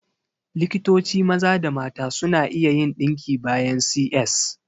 Likitoci maza da mata suna iya yin ɗinki bayan C.S